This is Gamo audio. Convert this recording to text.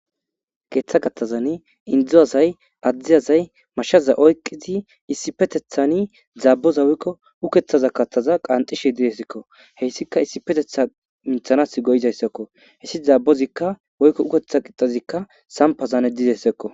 Geeththa gattazan indzuazay addizazay mashaza oyqqizi issi petethani zaaboza wykko ukethaza katthaza qanxishe didesikko heyssika issi petetha minthanas go7izayssakko hessi zaabbozikka woykko uketha qixazikka sampazane dizayssakko